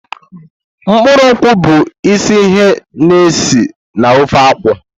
Mkpụrụ nkwu bụ isi ihe na-esi na ofe nkwụ.